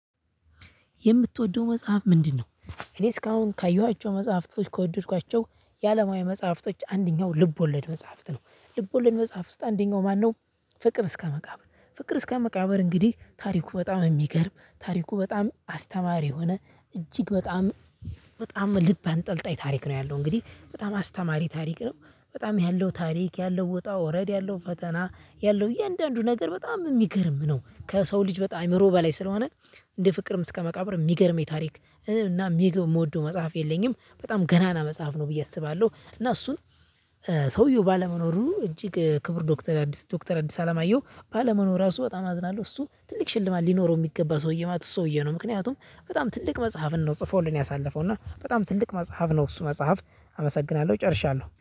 የምትወደው መጽሐፍ ምንድነው? እኔ እስካሁን ካየኋቸው መጽሐፍቶች ከወደድኳቸው ያለማዊ መጽሐፍቶች አንደኛው ልብ ወለድ መጽሐፍት ነው ልብ ወለድ መጽሐፍ ውስጥ አንደኛው ማነው? ፍቅር እስከ መቃብር ፍቅር እስከ መቃብር እንግዲህ ታሪኩ በጣም የሚገርም ታሪኩ በጣም አስተማሪ የሆነ እጅግ በጣም በጣም ልብ አንጠልጣይ ታሪክ ነው ያለው እንግዲህ በጣም አስተማሪ ታሪክ ነው። በጣም ያለው ታሪክ ያለው ውጣ ውረድ ያለው ፈተና ያለው እያንዳንዱ ነገር በጣም የሚገርም ነው። ከሰው ልጅ በጣም አእምሮ በላይ ስለሆነ። እንደ ፍቅርም እስከ መቃብር የሚገርም የታሪክ እና የሚገው መጽሐፍ የለኝም በጣም ገናና መጽሐፍ ነው ብዬ አስባለሁ። እና እሱን ሰውየው ባለመኖሩ እጅግ ክቡር ዶክተር አዲስ ዶክተር አዲስ አላማየው ባለመኖሩ ራሱ በጣም አዝናለሁ። እሱ ትልቅ ሽልማት ሊኖረው የሚገባ ሰውዬ ማለት እሱ ሰውዬ ነው። ምክንያቱም በጣም ትልቅ መጽሐፍን ነው ጽፎልን ያሳለፈው። እና በጣም ትልቅ መጽሐፍ ነው። እሱ መጽሐፍ አመሰግናለሁ ጨርሻለሁ